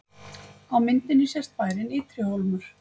Á myndinni sést bærinn Ytri-Hólmur.